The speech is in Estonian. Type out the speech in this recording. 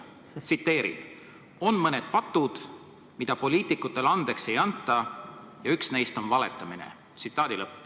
Ma tsiteerin: "On mõned patud, mida poliitikutele andeks ei anta, ja üks neist on valetamine.